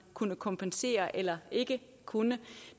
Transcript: kunne kompensere eller ikke kunne